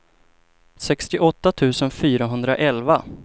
sextioåtta tusen fyrahundraelva